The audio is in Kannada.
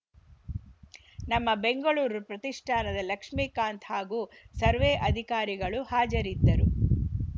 ನಮ್ಮ ಬೆಂಗಳೂರು ಪ್ರತಿಷ್ಠಾನದ ಲಕ್ಷ್ಮೇಕಾಂತ್‌ ಹಾಗೂ ಸರ್ವೆ ಅಧಿಕಾರಿಗಳು ಹಾಜರಿದ್ದರು